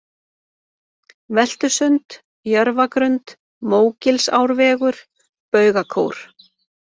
Veltusund, Jörfagrund, Mógilsárvegur, Baugakór